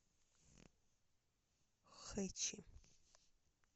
хэчи